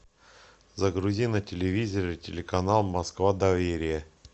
загрузи на телевизоре телеканал москва доверие